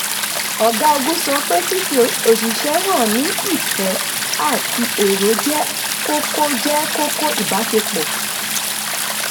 ọ̀gá ogu sọ pé fífi oṣìṣẹ́ hàn ní ìfẹ́ àti èrò jẹ́ kókó jẹ́ kókó ìbáṣepọ̀.